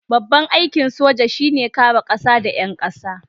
Babban aikin soja shi ne kare kasa da 'yan kasa.